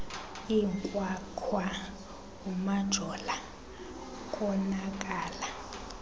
inkwakhwa umajola konakala